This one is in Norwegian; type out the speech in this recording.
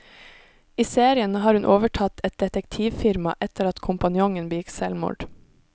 I serien har hun overtatt et detektivfirma etter at kompanjongen begikk selvmord.